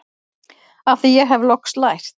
Af því hef ég loks lært